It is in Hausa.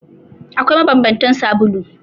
Akwai mabanbantan sabulu.